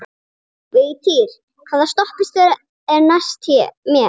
Vigtýr, hvaða stoppistöð er næst mér?